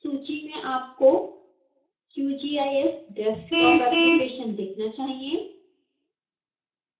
सूची में आपको qgis desktop application दिखना चाहिए